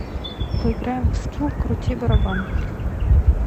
поиграем в скилл крути барабан